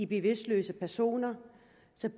bevidstløse personer